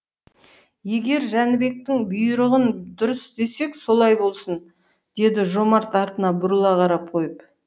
егер жәнібектің бұйрығын дұрыс десек солай болсын деді жомарт артына бұрыла қарап қойып